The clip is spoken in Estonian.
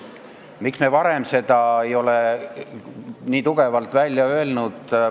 Miks me varem ei ole seda nii tugevalt välja öelnud?